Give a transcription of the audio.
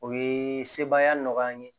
O ye sebaya nɔgɔya an ye